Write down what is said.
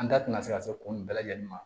An da tɛna se ka se kun bɛɛ lajɛlen ma